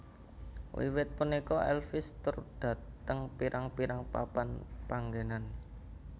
Wiwit punika Elvis tur dhateng pirang pirang papan panggenan